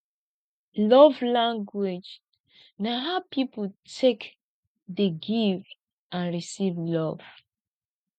love language na how pipo take dey give and receive love